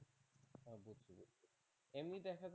এমনি দেখা যাচ্ছে,